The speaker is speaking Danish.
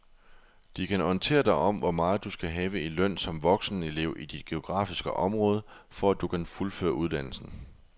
De kan orientere dig om hvor meget du skal have i løn som voksenelev i dit geografiske område, for at du kan fuldføre uddannelsen.